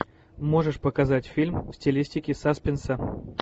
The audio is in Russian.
можешь показать фильм в стилистике саспенса